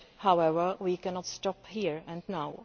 However, we cannot stop here and now.